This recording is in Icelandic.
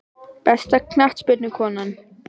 Besta knattspyrnukonan?